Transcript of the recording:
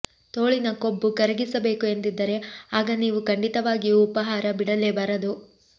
ತೋಳಿನ ಕೊಬ್ಬು ಕರಗಿಸಬೇಕು ಎಂದಿದ್ದರೆ ಆಗ ನೀವು ಖಂಡಿತವಾಗಿಯೂ ಉಪಾಹಾರ ಬಿಡಲೇಬಾರದು